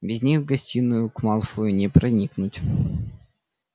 без них в гостиную к малфою не проникнуть